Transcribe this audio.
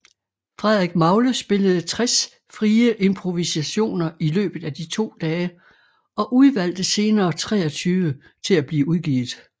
Frederik Magle spillede 60 frie improvisationer i løbet af de to dage og udvalgte senere 23 til at blive udgivet